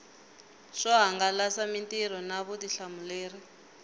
swo hangalasa mitirho na vutihlamuleri